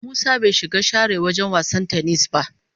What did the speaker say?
Musa bai shiga share wagen wasan "tennis" ba.